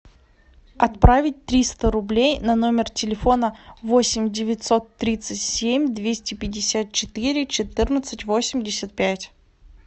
отправить триста рублей на номер телефона восемь девятьсот тридцать семь двести пятьдесят четыре четырнадцать восемьдесят пять